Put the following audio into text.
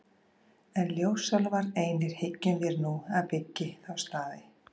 En ljósálfar einir hyggjum vér að nú byggi þá staði.